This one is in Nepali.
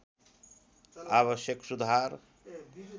आवश्यक सुधार